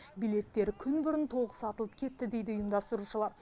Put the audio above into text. билеттер күн бұрын толық сатылып кетті дейді ұйымдастырушылар